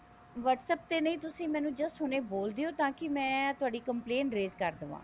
whatsapp ਤੇ ਨੀ ਤੁਸੀਂ ਮੈਨੂ just ਹੁਣੇ ਬੋਲ ਦਿਓ ਕੀ ਮੈਂ ਤੁਹਾਡੀ complaint raise ਕਰ ਦਵਾਂ